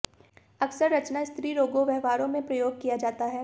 अक्सर रचना स्त्रीरोगों व्यवहार में प्रयोग किया जाता है